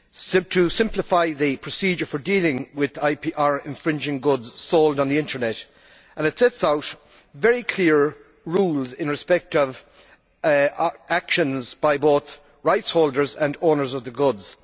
It simplifies the procedure for dealing with IPR infringing goods sold on the Internet and it sets out very clear rules in respect of actions by both rights holders and owners of the goods.